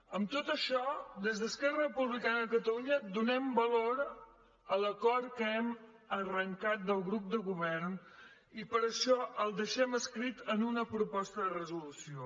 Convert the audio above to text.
en tot això des d’esquerra republicana de catalunya donem valor a l’acord que hem arrencat del grup del govern i per això el deixem escrit en una proposta de resolució